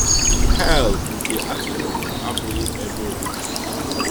“Hel” nke Àrtíkl abụghị ebe obibi Sátán.